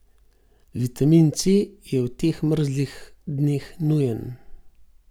Vitamin C je v teh mrzlih dneh nujen.